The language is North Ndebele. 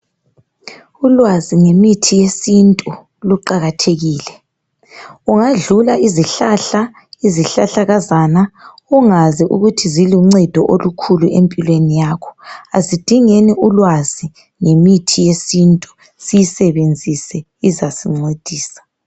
Ulwazi ngemithi yesintu luqakathekile, ungadlula izihlahla, izihlahlakazana ungazi ukuthi zilonceda olukhulu empilweni yakho. Asidengeni ulwazi ngemithi yesintu siyisebenzise izasincedisa.